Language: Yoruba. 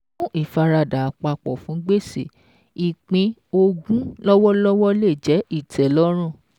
Fún ìfaradà àpapọ̀ fún gbèsè, ìpín ogún lọ́wọ́lọ́wọ́ lè jẹ́ ìtẹ́lọ́rùn.